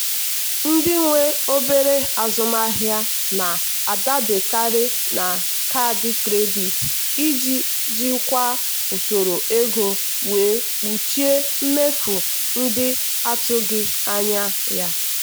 ndị nwe obere azụmaahịa na-adaberekarị na kaadị kredit iji jikwaa usoro ego wee kpuchie mmefu ndị atụghị anya ya.